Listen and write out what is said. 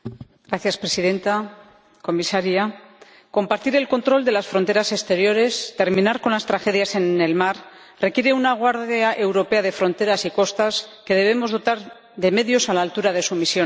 Señora Presidenta, Comisaria, compartir el control de las fronteras exteriores, terminar con las tragedias en el mar, requiere una Guardia Europea de Fronteras y Costas a la que debemos dotar de medios a la altura de su misión.